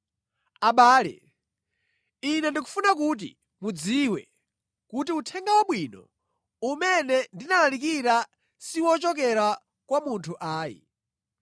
Abale, ine ndikufuna kuti mudziwe, kuti Uthenga Wabwino umene ndinalalikira si ochokera kwa munthu ayi.